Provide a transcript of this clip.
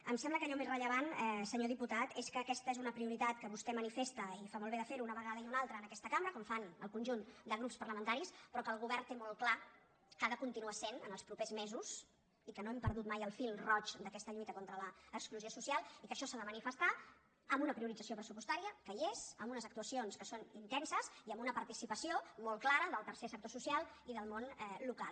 em sembla que allò més rellevant senyor diputat és que aquesta és una prioritat que vostè manifesta i fa molt bé de ferho una vegada i una altra en aquesta cambra com fan el conjunt de grups parlamentaris però que el govern té molt clar que ho ha de continuar sent els propers mesos i que no hem perdut mai el fil roig d’aquesta lluita contra l’exclusió social i que això s’ha de manifestar amb una priorització pressupostària que hi és amb unes actuacions que són intenses i amb una participació molt clara del tercer sector social i del món local